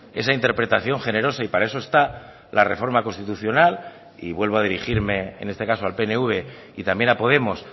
esa interpretación generosa y para eso está la reforma constitucional y vuelvo a dirigirme en este caso al pnv y también a podemos